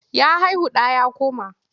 Ya haihu ɗan ya koma.